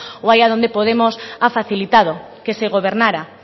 o allá donde podemos ha facilitado que se gobernara